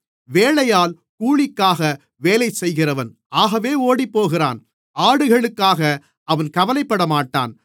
வேலையாள் கூலிக்காக வேலைசெய்கிறவன் ஆகவே ஓடிப்போகிறான் ஆடுகளுக்காக அவன் கவலைப்படமாட்டான்